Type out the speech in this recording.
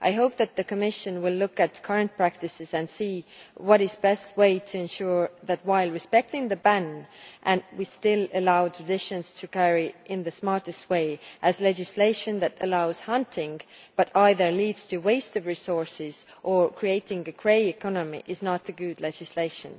I hope that the Commission will look at current practices and see what is the best way to ensure that, while respecting the ban, we still allow traditions to carry on in the smartest way, since legislation that allows hunting but either leads to a waste of resources or creates a grey economy is not good legislation.